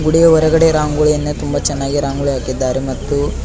ಇಲ್ಲಿ ಹೊರಗಡೆ ರಂಗೋಲಿಯನ್ನ ತುಂಬ ಚೆನ್ನಾಗಿ ರಂಗೋಲಿ ಹಾಕಿದ್ದಾರೆ ಮತ್ತು.